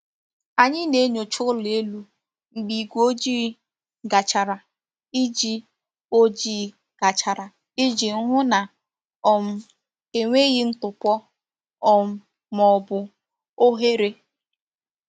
Anyị na-enyocha ụlọ elu mgbe igwe ojii gachara iji ojii gachara iji hụ na um enweghị ntụpọ um ma ọ bụ oghere.